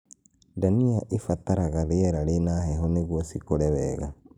Ndania ĩbataraga rĩera rĩna heho nĩguo cikũre wega